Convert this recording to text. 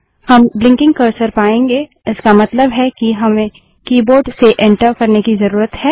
हम blinking cursor पायेंगे इसका मतलब है कि हमें कीबोर्ड से एंटर करने की जरूरत है